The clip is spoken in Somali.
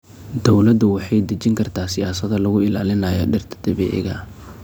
Dawladdu waxay dejin kartaa siyaasado lagu ilaalinayo dhirta dabiiciga ah.